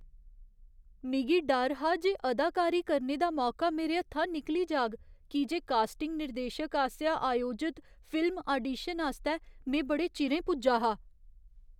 मिगी डर हा जे अदाकारी करने दा मौका मेरे हत्था निकली जाग की जे कास्टिंग निर्देशक आसेआ आयोजत फिल्म आडीशन आस्तै में बड़े चिरें पुज्जा हा।